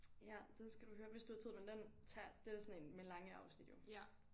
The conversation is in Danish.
Ja den skal du høre hvis du har tid men den tager det er sådan én med lange afsnit jo